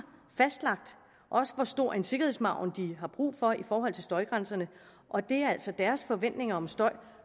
fastlagt hvor stor en sikkerhedsmargin de har brug for i forhold til støjgrænserne og det er altså deres forventninger om støj